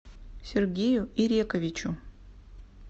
сергею ирековичу